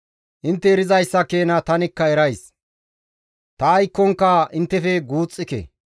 Intte erizayssa keena tanikka erays; ta aykkonka inttefe guuxxike.